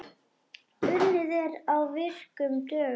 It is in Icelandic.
Unnið er á virkum dögum.